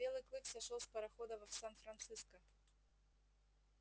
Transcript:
белый клык сошёл с парохода в сан франциско